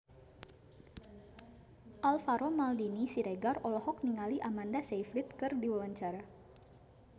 Alvaro Maldini Siregar olohok ningali Amanda Sayfried keur diwawancara